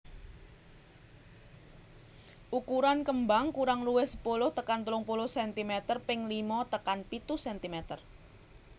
Ukuran kembang kurang luwih sepuluh tekan telung puluh centimeter ping limo tekan pitu centimeter